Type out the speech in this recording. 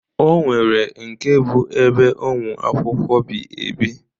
O nwere nke bụ ebe ụmụ akwụkwọ bi ebi.